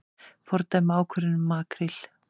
Fordæma ákvörðun um makríl